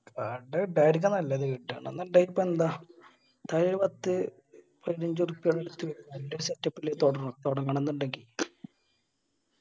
ഇടായിരിക്കും നല്ലത് ഇടണന്നുണ്ടെങ്കി ഇപ്പൊ എന്താ. എന്തായാലും പത്ത്‌ പതിനഞ്ച് ഉർപ്യ setup ല് തുടങ് തുടങ്ങണംന്ന് ഇണ്ടെങ്കിൽ